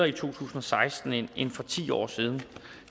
i to tusind og seksten end for ti år siden